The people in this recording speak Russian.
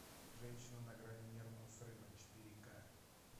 женщина на грани нервного срыва четыре ка